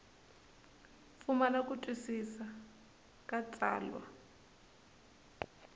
pfumala ku twisisa ka tsalwa